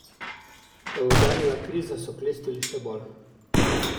Ko je udarila kriza, so klestili še bolj.